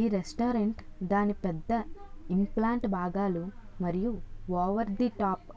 ఈ రెస్టారెంట్ దాని పెద్ద ఇంప్లాంట్ భాగాలు మరియు ఓవర్ ది టాప్